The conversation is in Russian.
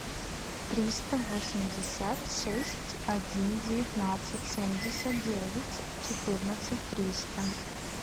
триста восемьдесят шесть один девятнадцать семьдесят девять четырнадцать триста